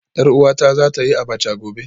Yar uwata za ta yi Abacha gobe